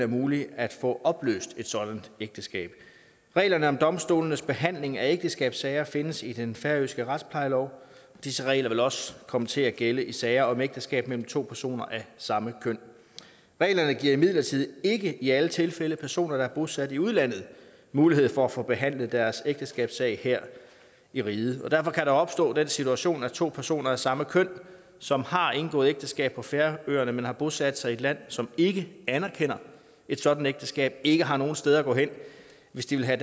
muligt at få opløst et sådant ægteskab reglerne om domstolenes behandling af ægteskabssager findes i den færøske retsplejelov disse regler vil også komme til at gælde i sager om ægteskab mellem to personer af samme køn reglerne giver imidlertid ikke i alle tilfælde personer der er bosat i udlandet mulighed for at få behandlet deres ægteskabssag her i riget og derfor kan der opstå den situation at to personer af samme køn som har indgået ægteskab på færøerne men som har bosat sig i et land som ikke anerkender et sådant ægteskab ikke har nogen steder at gå hen hvis de vil have